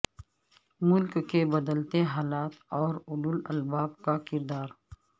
ملک کے بدلتے حالات میں اولو الالباب کا کردار